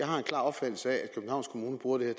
har en klar opfattelse af at københavns kommune bruger det